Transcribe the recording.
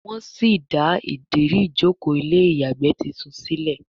wón sí dá Ìdérí ìjókòó ilé ìyàgbẹ́ títún sílè